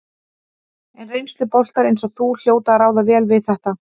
En reynsluboltar eins og þú hljóta að ráða vel við þetta?